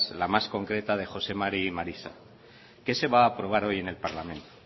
la más concreta de jose mari y marisa qué se va aprobar hoy en el parlamento